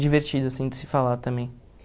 divertido, assim, de se falar também.